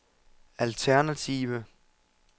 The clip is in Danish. alternative